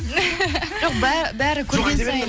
жоқ бәрі көрген сайын